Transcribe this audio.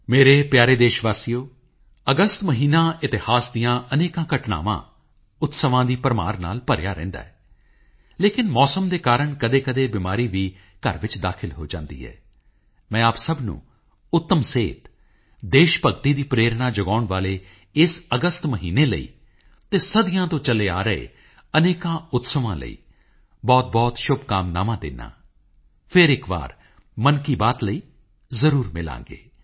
ਮੇਰੇ ਪਿਆਰੇ ਦੇਸ਼ ਵਾਸੀਓ ਅਗਸਤ ਮਹੀਨਾ ਇਤਿਹਾਸ ਦੀਆਂ ਅਨੇਕਾਂ ਘਟਨਾਵਾਂ ਉਤਸਵਾਂ ਦੀ ਭਰਮਾਰ ਨਾਲ ਭਰਿਆ ਰਹਿੰਦਾ ਹੈ ਲੇਕਿਨ ਮੌਸਮ ਦੇ ਕਾਰਨ ਕਦੇਕਦੇ ਬਿਮਾਰੀ ਵੀ ਘਰ ਵਿੱਚ ਦਾਖ਼ਲ ਹੋ ਜਾਂਦੀ ਹੈ ਮੈਂ ਆਪ ਸਭ ਨੂੰ ਉੱਤਮ ਸਿਹਤ ਦੇਸ਼ ਭਗਤੀ ਦੀ ਪ੍ਰੇਰਨਾ ਜਗਾਉਣ ਵਾਲੇ ਇਸ ਅਗਸਤ ਮਹੀਨੇ ਲਈ ਅਤੇ ਸਦੀਆਂ ਤੋਂ ਚਲੇ ਆ ਰਹੇ ਅਨੇਕਾਂ ਉਤਸਵਾਂ ਲਈ ਬਹੁਤਬਹੁਤ ਸ਼ੁਭਕਾਮਨਾਵਾਂ ਦਿੰਦਾ ਹਾਂ ਫਿਰ ਇੱਕ ਵਾਰ ਮਨ ਕੀ ਬਾਤ ਲਈ ਜ਼ਰੂਰ ਮਿਲਾਂਗੇ